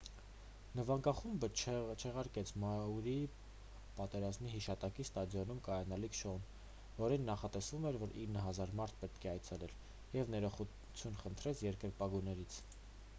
նվագախումբը չեղարկեց մաուրիի պատերազմի հիշատակի ստադիոնում կայանալիք շոուն որին նախատեսվում էր որ 9,000 մարդ պետք է այցելեր և ներողություն խնդրեց երկրպագուներից